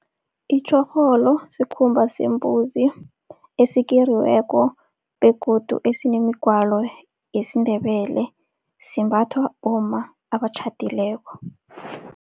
Itjorholo sikhumba sembuzi esikeriweko begodu esinemigwalo yesiNdebele, simbathwa bomma abatjhadileko.